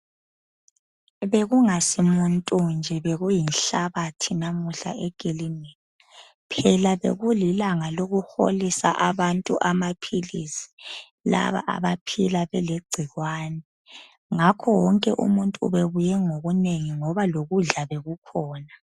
Bekungasimuntu nje bekuyinhlabathi namuhla ekilinika. Phela bekulilanga lokuholisa abantu amaphilisi, laba abaphila belegcikwane ngakho wonke umuntu ubebuye ngobunengi ngoba lokudla bekukhona.